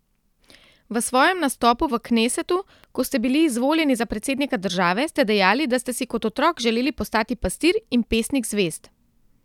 V svojem nastopu v knesetu, ko ste bili izvoljeni za predsednika države, ste dejali, da ste si kot otrok želeli postati pastir in pesnik zvezd.